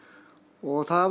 og það